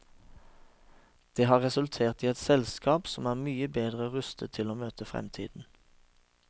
Det har resultert i et selskap som er mye bedre rustet til å møte fremtiden.